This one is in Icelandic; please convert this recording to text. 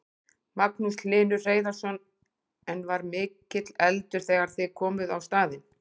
Magnús Hlynur Hreiðarsson: En var mikill eldur þegar þið komuð á staðinn?